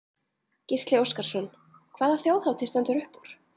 Gísli Óskarsson: Hvaða Þjóðhátíð stendur upp úr?